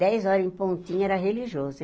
Dez horas, em pontinha, era religioso.